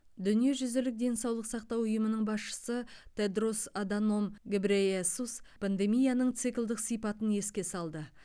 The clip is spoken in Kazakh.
дүниежүзілік денсаулық сақтау ұйымының басшысы тедрос аданом гебрейесус пандемияның циклдік сипатын еске салды